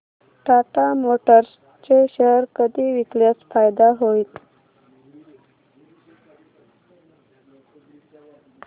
Tata motors चे share कधी विकल्यास फायदा होईल